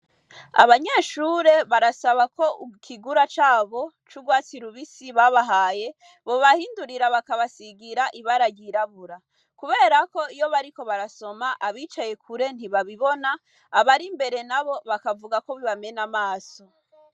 Abanyeshure barasaba ko ikigura cabo c'urwatsi rubisi babahaye bobahindurira bakabasigira ibara ryirabura kubera ko iyo bariko barasoma abicaye kure ntibabibona abarimbere nabo bakavuga bibamena amaso.